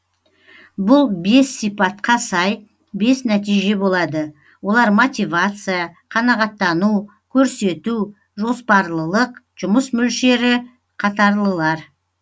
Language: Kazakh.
бұл бес сипатқа сай бес нәтиже болады олар мотивация қанағаттану көрсету жоспарлылық жұмыс мөлшері қатарлылар